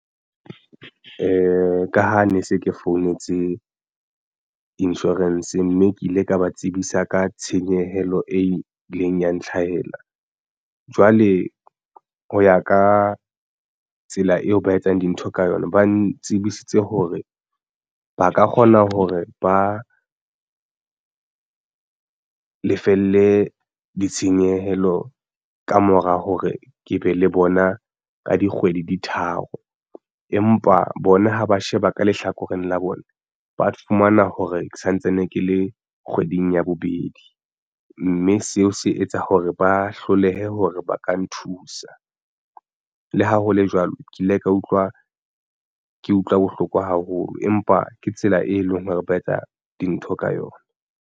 Ka ha ne se ke founetse insurance mme ke ile ka ba tsebisa ka tshenyehelo e ileng ya ntlhahela jwale ho ya ka tsela eo ba etsang dintho ka yona ba ntsebisitse hore ba ka kgona hore ba lefelle ditshenyehelo ka mora hore ke be le bona ka dikgwedi di tharo. Empa bona ha ba sheba ka lehlakoreng la bona ba fumana hore ke santsane ke le kgweding ya bobedi mme seo se etsa hore ba hlolehe hore ba ka nthusa. Le ha hole jwalo ke ile ka utlwa ke utlwa bohloko haholo empa ke tsela e leng hore ba etsa dintho ka yona.